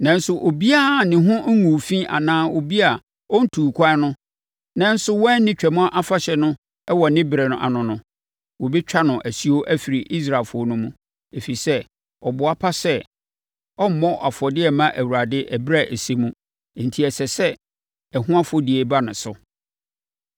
Nanso obiara a ne ho nguu fi anaa obi a ɔntuu kwan no nanso wanni Twam Afahyɛ no wɔ ne berɛ ano no, wɔbɛtwa no asuo afiri Israelfoɔ no mu, ɛfiri sɛ, ɔboa pa sɛ ɔremmɔ afɔdeɛ mma Awurade ɛberɛ a ɛsɛ mu, enti ɛsɛ sɛ ɛho afɔdie ba ne so.